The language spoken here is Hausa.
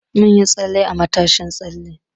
Mun yi tsalle a matashin tsalle.